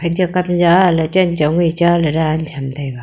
chekat cha lechong ngai cha ley ra ley chong taiga.